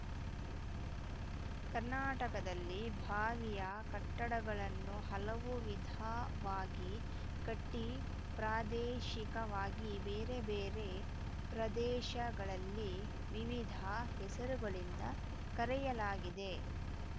ಕರ್ನಾಟಕದಲ್ಲಿ ಬಾವಿಯ ಕಟ್ಟಡಗಳನ್ನು ಹಲವು ವಿಧವಾಗಿ ಕಟ್ಟಿಪ್ರಾದೇಶಿಕವಾಗಿ ಬೇರೆ ಬೇರೆ ಪ್ರದೇಶಗಳಲ್ಲಿ ವಿವಿಧ ಹೆಸರುಗಳಿಂದ ಕರೆಯಲಾಗಿದೆ